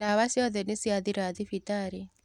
ndawa ciothe nīacithira thibitarī.